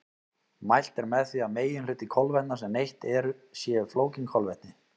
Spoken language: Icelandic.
Mælt er með því að meginhluti kolvetna sem neytt er séu flókin kolvetni.